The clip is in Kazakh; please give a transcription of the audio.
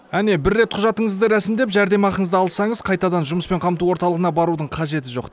әне бір рет құжатыңызды рәсімдеп жәрдемақыңызды алсаңыз қайтадан жұмыспен қамту орталығына барудың қажеті жоқ